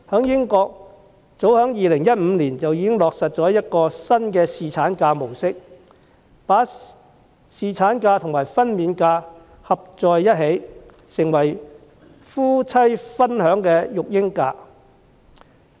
英國早於2015年便落實新的侍產假模式，把侍產假和分娩假組合在一起，成為夫妻分享的育嬰假。